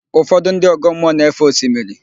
Ụfọdụ ndị ọgọmmụọ na-éfè osimiri.